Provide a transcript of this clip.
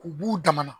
K'u b'u damana